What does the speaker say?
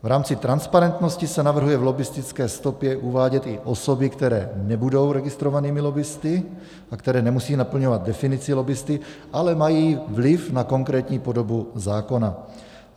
V rámci transparentnosti se navrhuje v lobbistické stopě uvádět i osoby, které nebudou registrovanými lobbisty a které nemusí naplňovat definici lobbisty, ale mají vliv na konkrétní podobu zákona.